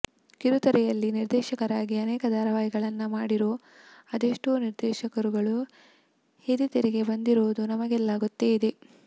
ಕಿರುತೆರೆಯಲ್ಲಿ ನಿರ್ದೇಶಕರಾಗಿ ಅನೇಕ ಧಾರಾವಾಹಿಗಳನ್ನ ಮಾಡಿರೋ ಅದೆಷ್ಟೋ ನಿರ್ದೇಶಕರುಗಳು ಹಿರಿತೆರೆಗೆ ಬಂದಿರೋದು ನಮಗೆಲ್ಲಾ ಗೊತ್ತೇ ಇದೆ